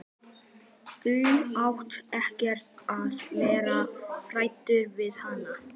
Þú átt ekkert að vera hræddur við hana.